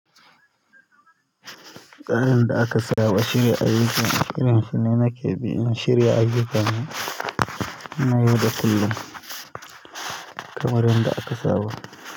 Tsarin da aka saba shirya ayyukan, irin shi ne nake bi in shirya aikin na yau da kullum kamar yanda aka saba.